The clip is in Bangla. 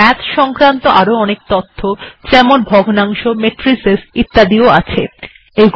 মাথস সংক্রান্ত আপনি এখানে আরো অনেক বিষয় যেমন ভগ্নাংশ ম্যাট্রিস সম্পর্কে জানতে পারবেন